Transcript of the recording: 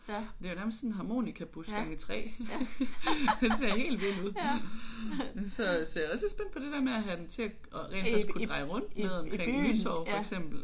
Det er jo nærmest sådan en harmonikabus gange 3. Den ser helt vild ud så så jeg er også lidt spændt på det der med at have den til at rent faktisk at kunne dreje rundt nede omkring Nytorv for eksempel